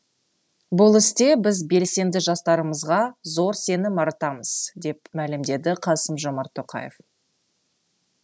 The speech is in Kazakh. бұл істе біз белсенді жастарымызға зор сенім артамыз деп мәлімдеді қасым жомарт тоқаев